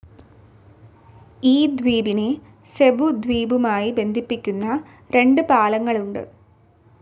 ഈ ദ്വീപിനെ സെബു ദ്വീപുമായി ബന്ധിപ്പിക്കുന്ന രണ്ട് പാലങ്ങൾ ഉണ്ട്.